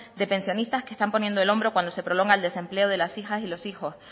de pensionistas que están poniendo el hombro cuando se prolonga el desempleo de las hijas y de los hijos